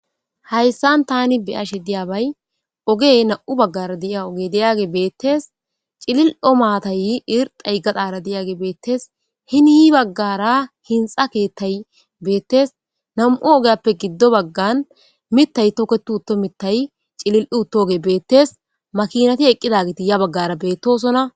Haysan Tani beyashe dizzbayi ogey nam'u bagara diyage bettes. C'lili'o mattay gaxara diyagey betes. Hini bagara hinxa ketey Bettes nam'u ogiyappe gido baga mitay toketi uto mitay c'ili'i utogey bettes makinati eqidoge ya bagara betosona.